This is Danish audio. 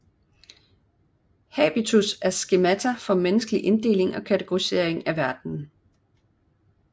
Habitus er skemata for menneskelig inddeling og kategorisering verden